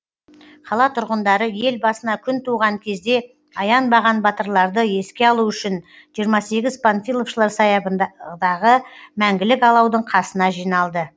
қала тұрғындары ел басына күн туған кезде аянбаған батырларды еске алу үшін жиырм сегіз панфиловшылар саябын дағы мәңгілік алаудың қасына жиналды